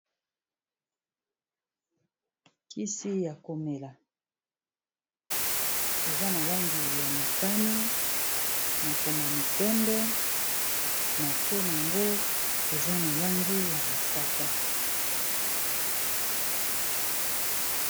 Kisi ya komela eza na langi ya motane makomami pembe, na se yango eza na langi ya mosaka.